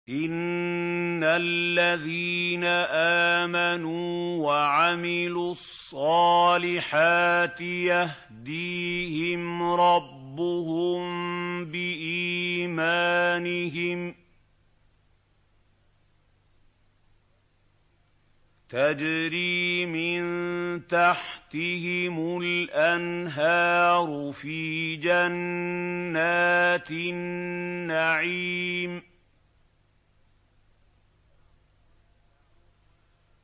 إِنَّ الَّذِينَ آمَنُوا وَعَمِلُوا الصَّالِحَاتِ يَهْدِيهِمْ رَبُّهُم بِإِيمَانِهِمْ ۖ تَجْرِي مِن تَحْتِهِمُ الْأَنْهَارُ فِي جَنَّاتِ النَّعِيمِ